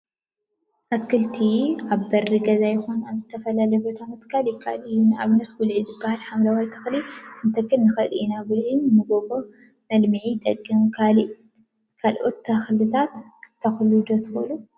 አትክልቲ አትክልቲ አብ በሪ ገዛ ይኩን አብ ዝተፈላለየ ቦታ ምትካል ይከአል እዩ፡፡ ንአብነት ጉልዒ ዝበሃል ሓምለዋይ ተክሊ ክንተክል ንክእል ኢና፡፡ ጉልዒ ንመጎጎ መልምዒ ይጠቅም፡፡ ካልኦት አትክልቲ ክትተክሉ ዶ ትክእሉ?